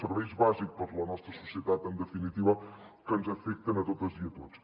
serveis bàsics per a la nostra societat en definitiva que ens afecten a totes i a tots